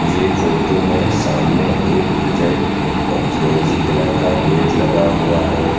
ये फोटो में सामने एक रेड और फिरोजी कलर का गेट लगा हुआ है।